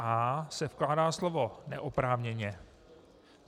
A se vkládá slovo "neoprávněně".